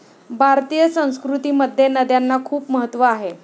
भारतीय संस्कृतीमध्ये नद्यांना खुप महत्व आहे.